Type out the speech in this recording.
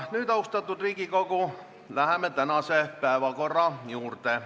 Nüüd, austatud Riigikogu, läheme tänase päevakorra punktide käsitlemise juurde.